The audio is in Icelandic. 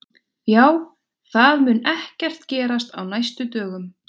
Já, það mun ekkert gerast á næstu dögum.